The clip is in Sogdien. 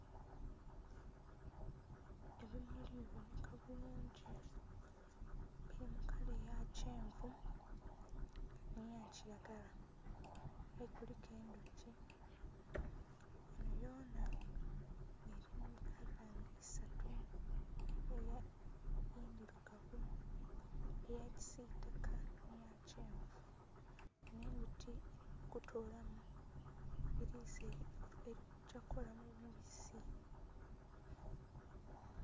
Ebimuli bibonheka bulungi, biri mukala eyakyenvu nheyakiragala aye kuliku endhuki ghanho ghonha nga eri mukala isatu endhilugavu, eyakisitaka, nheyakenvu nga endhuki erikutolamu elikugya kukola mubisi.